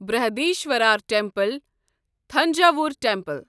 Brihadeeswarar temple Thanjavur temple